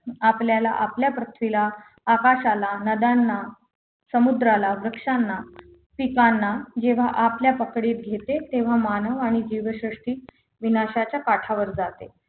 आपल्याला आपल्या पृथ्वीला आकाशाला नद्यांना समुद्राला वृक्षांना पिकांना जेव्हा आपल्या पकडीत घेते तेव्हा मानवाने जीवसृष्टी विनाशाच्या काठावर जाते